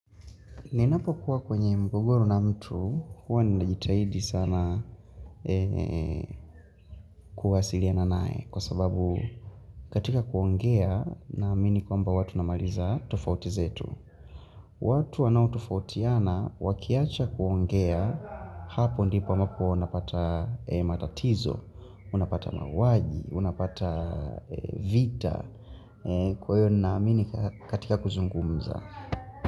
Ninapo kuwa kwenye mgogoro na mtu huwa ninajitahidi sana kuwasiliana nae kwa sababu katika kuongea naamini kwamba huwa tunamaliza tofauti zetu. Watu wanaotofautiana wakiacha kuongea hapo ndipo ambapo unapata matatizo, unapata mauaji, unapata vita, kwa hiyo ninaamini katika kuzungumza.